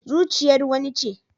Zuciyar wani ce